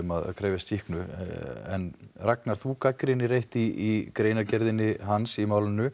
að krefjast sýknu en Ragnar þú gagnrýnir eitt í greinargerð hans í málinu